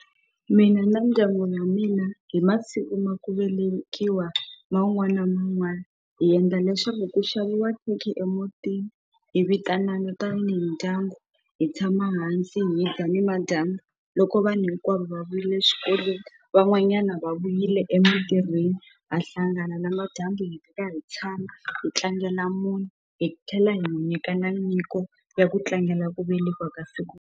Mina na mindyangu ya mina hi masiku ma ku velekiwa man'wana na man'wana hi endla leswaku ku xaviwa khekhe emutini hi vitanani tanihi mindyangu hi tshama hansi hi mindyangu nimadyambu loko vanhu hinkwavo va vuyile swikweleti van'wanyana va vuyile emintirhweni va hlangana lama dyambu hi fika hi tshama hi tlangela munhu hi tlhela hi n'wu nyikana nyiko ya ku tlangela ku velekiwa ka siku.